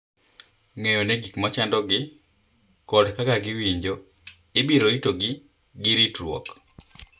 Ng’eyo ni gik ma chandogi kod kaka giwinjo ibiro ritogi gi ritruok.